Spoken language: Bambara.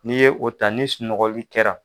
N'i ye o ta ni sunɔgɔli kɛra.